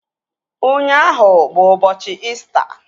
Ụnyaahụ bụ ụbọchị İsita